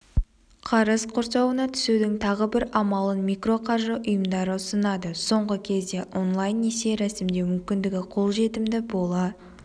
қарыз құрсауына түсудің тағы бір амалын микроқаржы ұйымдары ұсынады соңғы кезде онлайн-несие рәсімдеу мүмкіндігі қолжетімді бола